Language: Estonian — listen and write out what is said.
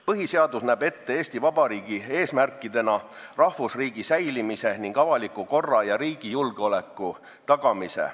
Põhiseadus näeb Eesti Vabariigi eesmärkidena ette rahvusriigi säilimise ning avaliku korra ja riigi julgeoleku tagamise.